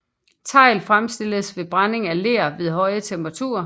Tegl fremstilles ved brænding af ler ved høje temperaturer